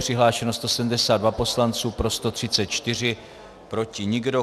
Přihlášeno 172 poslanců, pro 134, proti nikdo.